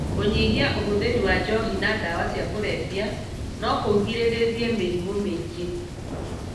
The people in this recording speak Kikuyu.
Kũnyihia ũhũthĩri wa njohi na ndawa cia kũrebia nokũgirĩrie mĩrimũ mĩingĩ